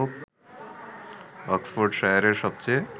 অক্সফোর্ডশায়ারের সবচেয়ে